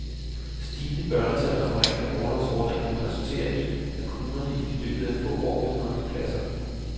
Stigende børnetal og forringede orlovsordninger vil resultere i, at kommunerne i løbet af få år vil mangle pladser.